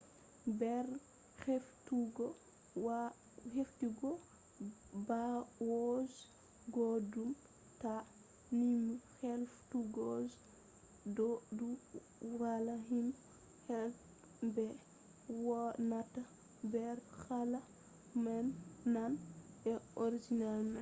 nder heftugo bawo je goddo ta numu heftugo je njondemom on do ni valla himbe heba ha be wonata nder hala nane je organization man